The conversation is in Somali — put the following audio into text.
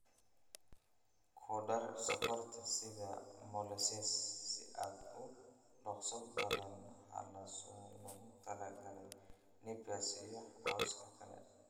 Ku dar sonkorta sida molasses si aad u dhaqso badan halsano loogu talagalay Napier iyo cawska kale.